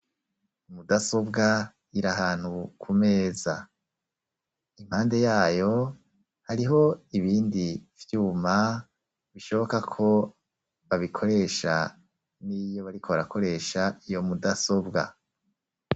Mudasobwa iri ahantu ku meza, impande yayo hariho ibindi vyuma bishoboka ko babikoresha niyo bariko barakoresha iyo mudasobwa.